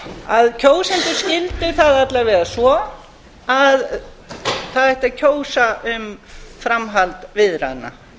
kjósendur skildu það alla vega svo að það ætti að kjósa um framhald viðræðna